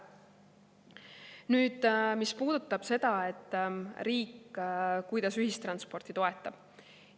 Nüüd, mis puudutab seda, kuidas riik ühistransporti toetab.